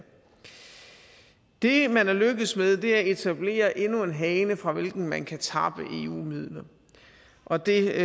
det man er lykkedes med er at etablere endnu en hane fra hvilken man kan tappe eu midler og det